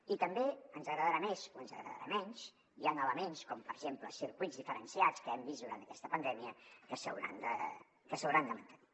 i també ens agradarà més o ens agradarà menys hi han elements com per exemple circuits diferenciats que hem vist durant aquesta pandèmia que s’hauran de mantenir